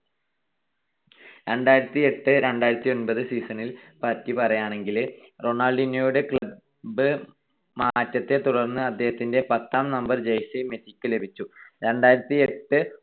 രണ്ടായിരത്തിയെട്ട് -രണ്ടായിരത്തിയൊൻപത് season നെ പറ്റി പറയുകയാണെങ്കിൽ റൊണാൾഡീന്യോയുടെ club മാറ്റത്തെ തുടർന്ന് അദ്ദേഹത്തിന്റെ പത്താം നമ്പർ jursey മെസ്സിക്ക് ലഭിച്ചു.